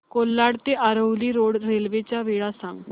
कोलाड ते Aravali road railway च्या वेळा सांग